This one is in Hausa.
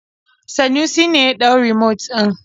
Sanusi ne ya ɗau rumot ɗin.